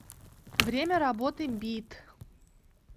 время работы бит